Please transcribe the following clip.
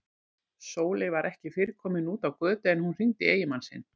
Sóley var ekki fyrr komin út á götu en hún hringdi í eiginmann sinn.